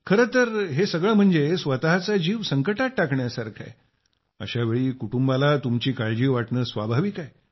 खरतर हे सगळे म्हणजे स्वतःचा जीव संकटात टाकण्यासारखे आहे अशावेळी कुटुंबाला तुमची काळजी वाटणे स्वाभाविक आहे